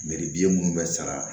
biyɛn minnu bɛ sara